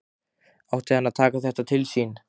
Átti hann að taka þetta til sín?